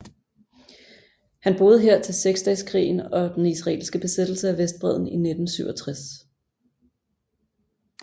Han boede her til Seksdageskrigen og den israelske besættelse af Vestbredden i 1967